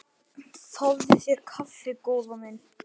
Fáðu þér kaffi góða mín.